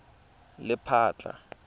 lephatla